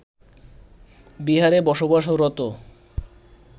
বিহারে বসবাসরত